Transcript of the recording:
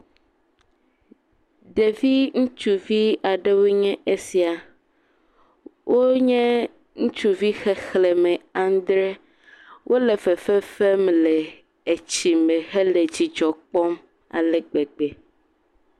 Ɖevi ŋutsuvi aɖewoe nye esia wonye ŋutsuvi xexlẽme andre, wole fefe fem le etsi me hele dzidzɔ kpɔm ale gbegbe.